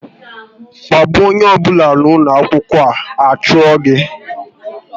Kpagbuo onye ọ bụla n'ụlọ akwụkwọ, a chụọ gị!